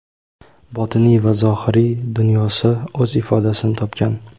botiniy va zohiriy dunyosi o‘z ifodasini topgan.